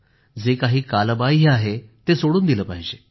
जे काही कालबाह्य आहे ते सोडून दिलं पाहिजे